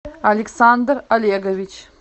александр олегович